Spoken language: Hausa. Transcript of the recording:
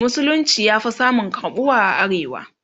musulunci ya Fi samun karɓuwa a arewa